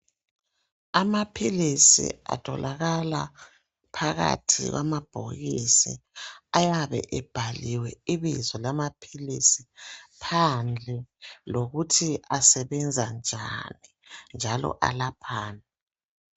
Amaphilizi atholakala phakathi kwamabhokisi, ayabe ebhaliwe ibizo lamaphilisi phandle lokuthi asebenza njani, njalo alaphani.